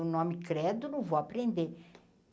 O nome credo, não vou aprender.